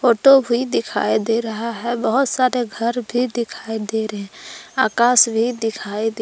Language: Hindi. ऑटो भी दिखाई दे रहा हैं बहुत सारे घर भी दिखाई दे रहे है आकाश भी दिखाई दे--